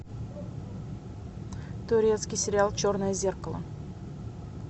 турецкий сериал черное зеркало